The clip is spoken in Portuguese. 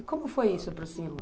E como foi isso, Próximo?